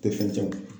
Tɛ fɛn tiɲɛ